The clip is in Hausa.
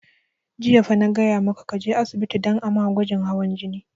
Jiya fa na gaya maka ka je asibiti don a ma gwajin hawan jini!